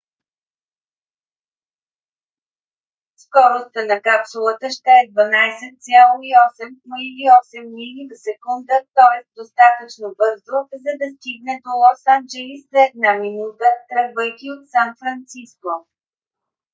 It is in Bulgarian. скоростта на капсулата ще е 12,8 км или 8 мили в секунда тоест достатъчно бързо за да стигне до лос анджелис за една минута тръгвайки от сан франциско